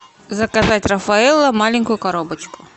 заказать рафаэлло маленькую коробочку